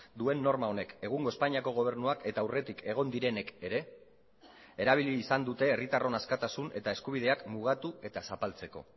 duen norma honek egungo espainiako gobernuak eta aurretik egon direnek ere erabili izan dute herritarron askatasun eta eskubideak mugatu eta zapaltzeko